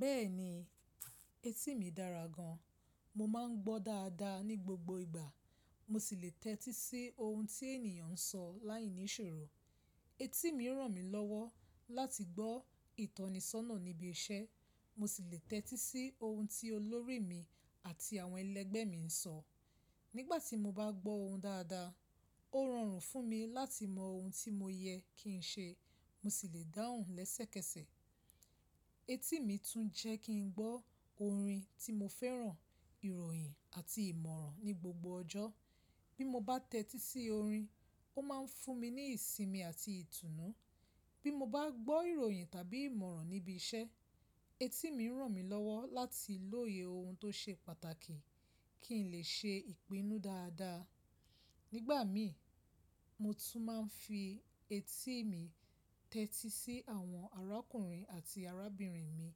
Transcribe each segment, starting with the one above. Bẹ́ẹ̀ni, etí mi dára gan. Mo máa ń gbọ́ dáadáa ní gbogbo ìgbà. Mo sì lè tẹ́tí sí ohun tí ènìyàn ń sọ láìní ìṣòro. Etí mi ràn mí lọ́wọ́ láti gbọ́ ìtọ́nisọ́nà níbi iṣẹ́. Mo sì lè tẹ́tí sí ohun tí olórí mi àti àwọn ẹlẹgbẹ́ mi ń sọ. Nígbà tí mo bá gbọ́ ohun dáadáa, ó rọrùn fún mi láti mọ ohun tí mo yẹ kí n ṣe. Mo sì lè dáhùn lẹ́sẹ̀kẹsẹ̀. Etí mi tún jẹ́ kí n gbọ́ orin tí mo fẹ́ràn, ìròyìn àti ìmọ̀ràn ní gbogbo ọjọ́. Bí mo bá tẹ́tí sí orin, ó máa ń fún mi ní ìsinmi àti ìtùnú. Bí mo bá gbọ́ ìròyìn tàbí ìmọ̀ràn níbi iṣẹ́, etí mi ràn mí lọ́wọ́ láti lóye ohun tó ṣe pàtàkì kí n lè ṣe ìpinnu dáadáa. Nígbà mi, mo tún máa ń fi etí mi tẹ́tí sí àwọn arákùnrin àti arábìnrin mi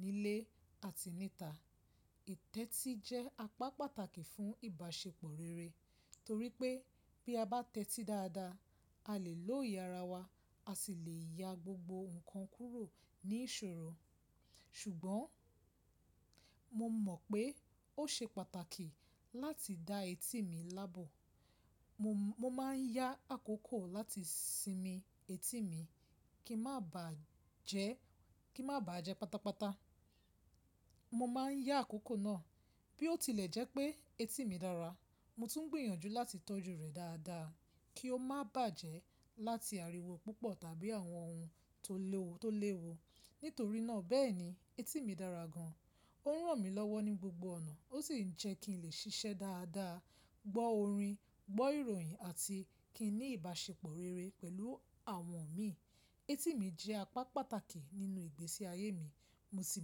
nílé àti níta. Tẹ́tí jẹ́ apá pàtàkì fún ìbáṣepọ̀ rere, torí pé bí a bá tẹ́tí dáadáa, a lè lóye ara wa, a sì lè ya gbogbo nǹkan kúrò ní ìṣòro. Ṣùgbọ́n mo mọ̀ pé ó ṣe pàtàkì láti da etí mi láàbò mo mo Mo máa ń yá àkókò láti sinmi etí mi kin ma baa kín má bàa jẹ́ pátápátá. Mo máa ń yá àkókò náà. Bí ó tilẹ̀ jẹ́ pé etí mi dára, mo tún gbìyànjú láti tọ́jú rẹ̀ dáadáa kí ó má bàjẹ́ láti ariwo púpọ̀ tàbí àwọn ohun to lewo tó léwu. Nítorí náà, bẹ́ẹ̀ni, etí mi dára gan. Ó ràn mí lọ́wọ́ ní gbogbo ọ̀nà. Ó sì ń jẹ́ kí n lè ṣiṣẹ́ dáadáa, gbọ́ orin, gbọ́ ìròyìn àti kí n ní ìbáṣepọ̀ rere pẹ̀lú àwọn mi. Etí mi jẹ́ apá pàtàkì nínú ìgbésí ayé mi. Mo sì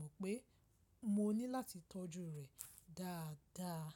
mọ̀ pé mo ní láti tọ́jú rẹ̀ dáadáa.